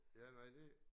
Ja nej det